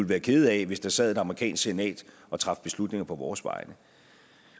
være kede af hvis der sad et amerikansk senat og traf beslutninger på vores vegne